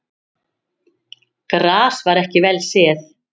Gras var ekki vel séð.